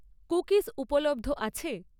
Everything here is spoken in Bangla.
কুকিজ উপলব্ধ আছে?